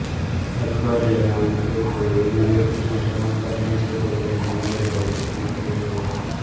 અઠવાડિયાના અંતે કોઈ એવી વ્યક્તિના સમાચાર મળશે જેને મળ્યે બહુ સમય થઈ ગયો હોય